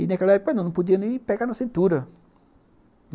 E naquela época, não podia nem pegar na cintura.